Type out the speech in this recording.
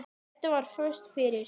Edda var föst fyrir.